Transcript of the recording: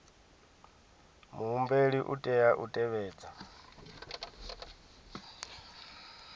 muhumbeli u tea u tevhedza